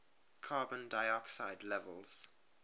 carbon dioxide levels